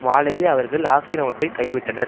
மாலையே அவர்கள் ஆக்கிரமிப்பை கைவிட்டனர்